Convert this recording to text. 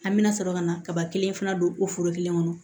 An bɛna sɔrɔ ka na kaba kelen fana don o foro kelen kɔnɔ